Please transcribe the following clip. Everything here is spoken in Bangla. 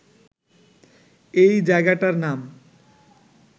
এই জায়গাটার নাম